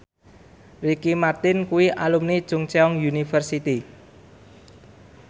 Ricky Martin kuwi alumni Chungceong University